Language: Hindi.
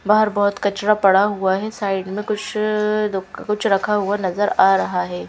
बाहर बहोत कचरा पड़ा हुआ है साइड में कुछअ कुछ रखा हुआ नजर आ रहा है।